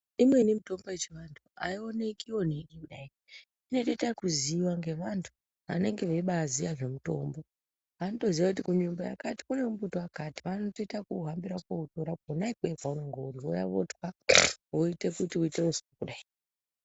Imweni mitombo yechivantu aioneki oneki kudai inobaitwa kuziva ngevanhu vanenge vembaiziva nezve mutombo vanotoziva kutsvimbo yakati kune mumbiti eakati vanoita zvekuhambira kona ikweyo kwaunenge uri vouya voutatwa voita kuti uite uswa kudai.